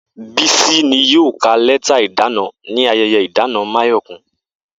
Bísí ni yóò ka lé̩tà ìdána ní aye̩ye̩ ìdáná Máyò̩kún